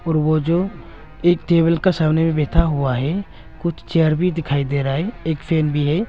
और वो जो एक टेबल का सामने में बैठा हुआ है कुछ चेयर भी दिखाई दे रहा है एक फैन भी है।